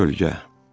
Kölgə.